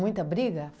briga?